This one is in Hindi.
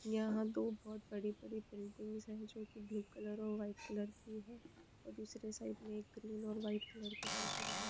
यहा दो बहुत बड़े-बड़े बिल्डिंग्स है जो की ब्लू कलर और व्हाईट कलर की है और दूसरे साईड में एक ग्रीन और व्हाइट कलर के बिल्डिंग है।